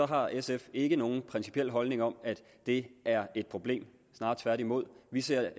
har sf ikke nogen principiel holdning om at det er et problem snarere tværtimod vi ser